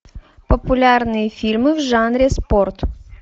популярные фильмы в жанре спорт